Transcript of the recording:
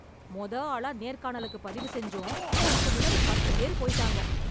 முத ஆளா நேர்காணலுக்கு பதிவு செஞ்சும் நமக்கு முன்னாடிப் பத்து பேரு போயிட்டாங்க